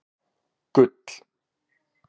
Gull